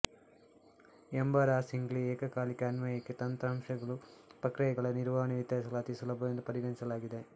embarrassingly ಏಕಕಾಲಿಕ ಅನ್ವಯಿಕೆ ತಂತ್ರಾಂಶಗಳು ಪ್ರಕ್ರಿಯೆಗಳ ನಿರ್ವಹಣೆ ವಿತರಿಸಲು ಅತೀ ಸುಲಭವೆಂದು ಪರಿಗಣಿಸಲಾಗಿದೆ